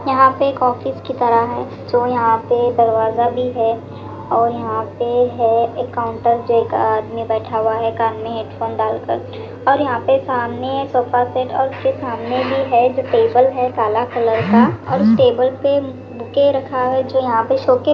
यहां पे एक ऑफिस की तरह है जो यहां पे दरवाजा भी है और यहां पे है एक काउंटर जो एक आदमी बैठा हुआ है कान में हेडफोन डालकर और यहां पे सामने सोफा सेट और उसके सामने भी है जो टेबल है काला कलर का और उस टेबल पे के रखा है तो यहां पे शोकैस --